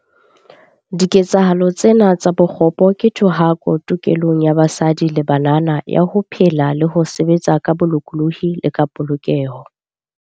Diketsahalo tsena tsa bokgopo ke thohako tokelong ya basadi le banana ya ho phela le ho sebetsa ka bolokolohi le ka polokeho.